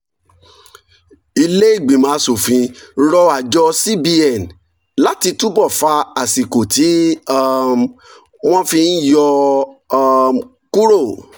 ilé ìgbìmọ̀ aṣòfin rọ àjọ cbn láti túbọ̀ fa àsìkò tí um wọ́n fi ń yọ̀ um kúrò